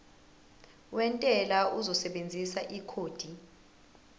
wentela uzosebenzisa ikhodi